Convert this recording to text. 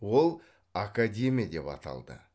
ол академия деп аталды